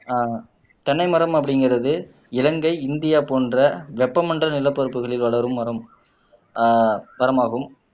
ஆஹ் தென்னை மரம் அப்படிங்கிறது இலங்கை இந்தியா போன்ற வெப்பமண்டல நிலப்பரப்புகளில் வளரும் மரம் ஆஹ் மரமாகும்